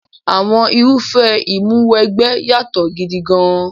Àwọn irúfẹ́ Ìmúw'ẹgbẹ́ yàtọ̀ gidi gan-an.